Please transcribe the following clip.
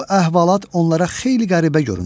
Bu əhvalat onlara xeyli qəribə göründü.